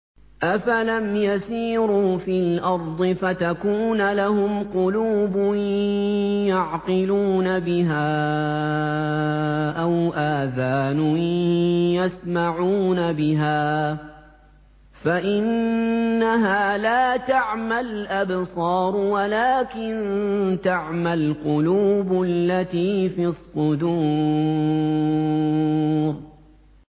أَفَلَمْ يَسِيرُوا فِي الْأَرْضِ فَتَكُونَ لَهُمْ قُلُوبٌ يَعْقِلُونَ بِهَا أَوْ آذَانٌ يَسْمَعُونَ بِهَا ۖ فَإِنَّهَا لَا تَعْمَى الْأَبْصَارُ وَلَٰكِن تَعْمَى الْقُلُوبُ الَّتِي فِي الصُّدُورِ